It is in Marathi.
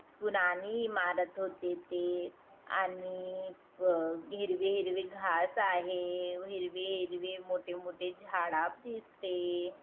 पुराणी इमारत होती इथे आणि व हिरवे हिरवे घास आहे हिरवे हिरवे मोठे मोठे झाडाप दिसते.